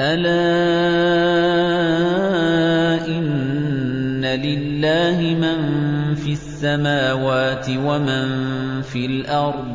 أَلَا إِنَّ لِلَّهِ مَن فِي السَّمَاوَاتِ وَمَن فِي الْأَرْضِ ۗ